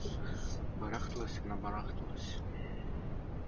барахталась она барахталась